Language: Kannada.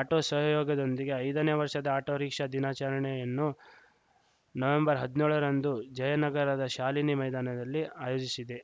ಆಟೋ ಸಹಯೋಗದೊಂದಿಗೆ ಐದನೇ ವರ್ಷದ ಆಟೋ ರಿಕ್ಷಾ ದಿನಾಚರಣೆಯನ್ನು ನವೆಂಬರ್ ಹದ್ನ್ಯೋಳರಂದು ಜಯನಗರದ ಶಾಲಿನಿ ಮೈದಾನದಲ್ಲಿ ಆಯೋಜಿಶಿದೆ